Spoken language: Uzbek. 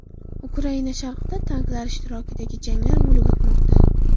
Ukraina sharqida tanklar ishtirokidagi janglar bo‘lib o‘tmoqda.